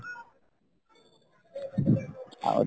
ଆଉ